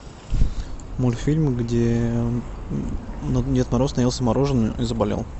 мультфильм где дед мороз наелся мороженого и заболел